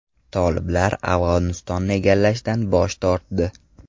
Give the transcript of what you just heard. Toliblar Afg‘onistonni egallashdan bosh tortdi.